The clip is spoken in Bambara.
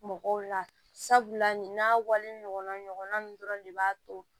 Mɔgɔw la sabula nin n'a wale ɲɔgɔnna ɲɔgɔnna ninnu dɔrɔn de b'a to